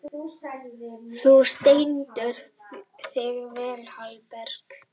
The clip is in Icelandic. Þú stendur þig vel, Hallberg!